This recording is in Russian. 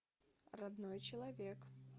родной человек